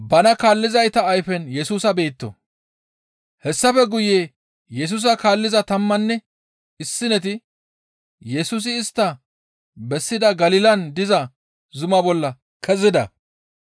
Hessafe guye Yesusa kaalliza tammanne issineti Yesusi istta bessida Galilan diza zuma bolla kezida.